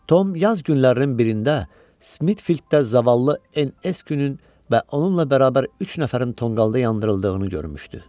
Tom yaz günlərinin birində Smitfilddə zavallı NS Günün və onunla bərabər üç nəfərin tonqalda yandırıldığını görmüşdü.